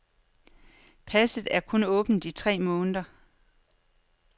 Passet er kun åbent i tre måneder.